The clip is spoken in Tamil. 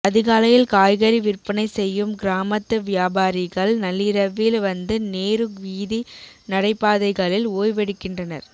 அதிகாலையில் காய்கறி விற்பனை செய்யும் கிராமத்து வியாபாரிகள் நள்ளிரவில் வந்து நேரு வீதி நடைபாதைகளில் ஓய்வெடுக்கின்றனர்